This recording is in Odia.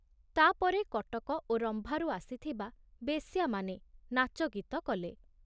ତା ପରେ କଟକ ଓ ରମ୍ଭାରୁ ଆସିଥିବା ବେଶ୍ୟାମାନେ ନାଚଗୀତ କଲେ।